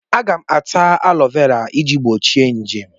Aga m ata alọvera iji gbochie nje.